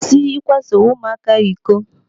Kwụsị ikwaso ụmụaka iko.